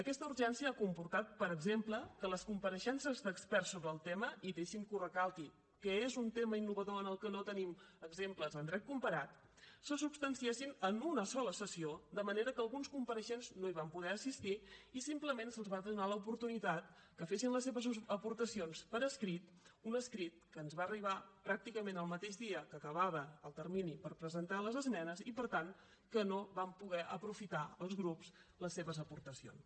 aquesta urgència ha comportat per exemple que les compareixences d’experts sobre el tema i deixi’m que ho recalqui que és un tema innovador en el que no tenim exemples en dret comparat se substanciessin en una sola sessió de manera que alguns compareixents no hi van poder assistir i simplement se’ls va donar l’oportunitat que fessin les seves aportacions per escrit un escrit que ens va arribar pràcticament el mateix dia que acabava el termini per presentar les esmenes i per tant que no vam poder aprofitar els grups les seves aportacions